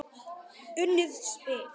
Unnið spil.